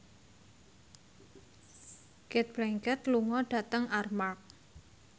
Cate Blanchett lunga dhateng Armargh